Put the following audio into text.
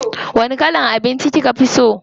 Wani kalan abinci kika fi so?